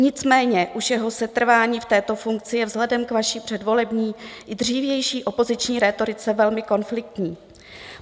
Nicméně už jeho setrvání v této funkci je vzhledem k vaší předvolební i dřívější opoziční rétorice velmi konfliktní.